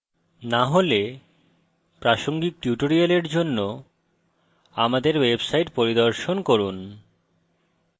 না হলে প্রাসঙ্গিক tutorial জন্য আমাদের website পরিদর্শন করুন